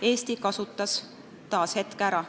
Eesti kasutas taas hetke ära.